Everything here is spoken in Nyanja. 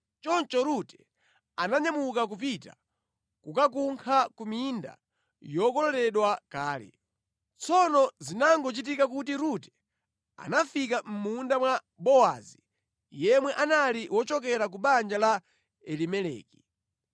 Choncho Rute ananyamuka kupita kukakunkha ku minda yokololedwa kale. Tsono zinangochitika kuti Rute anafika mʼmunda wa Bowazi, yemwe anali wochokera ku banja la Elimeleki.